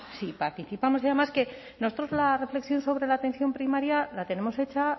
participamos y además que nosotros la reflexión sobre la atención primaria la tenemos hecha